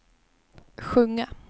sjunga